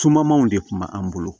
Sumanmanw de kun bɛ an bolo